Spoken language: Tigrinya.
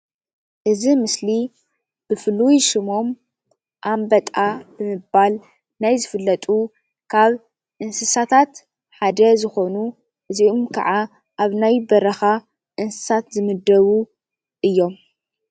እዚ ምስሊ ብፍሉይ ሽሞም ኣንበጣ ብምባል ናይ ዝፍለጡ ካብ እንስሳታት ሓደ ዝኮኑ እዚኦም ከዓ ኣብ ናይ በረካ እንስሳት ዝምደቡ እዮም፡፡